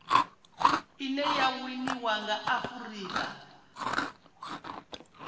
ine ya winiwa nga afurika